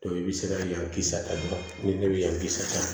i bɛ se ka yan kisɛ a jɔ ni ne bɛ yan kisaa